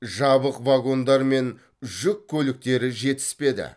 жабық вагондар мен жүк көліктері жетіспеді